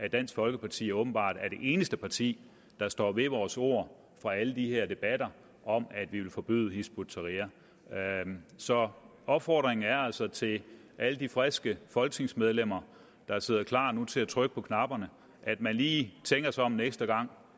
i dansk folkeparti åbenbart er det eneste parti der står ved vores ord fra alle de her debatter om at forbyde hizb ut tahrir så opfordringen er altså til alle de friske folketingsmedlemmer der sidder klar nu til at trykke på knapperne at man lige tænker sig om en ekstra gang